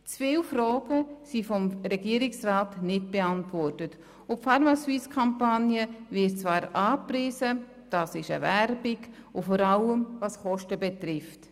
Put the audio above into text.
Zu viele Fragen sind vom Regierungsrat nicht beantwortet, die pharmaSuisse-Kampagne wird angepriesen – das ist Werbung, vor allem was die Kosten betrifft.